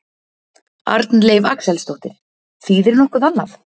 Arnleif Axelsdóttir: Þýðir nokkuð annað?